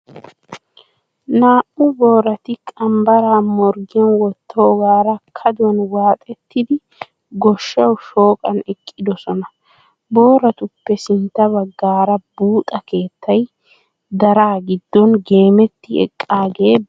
Naa"u boorati qanbbaraa morggiyan wottoogaara kaduwan waaxettidi goshshawu shooqan eqqidosona. Booratuppe sintta baggaara buuxa keettay daraa giddon geemetti eqqaagee beettes.